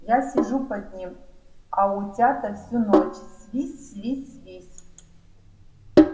я сижу под ним а утята всю ночь свись свись свись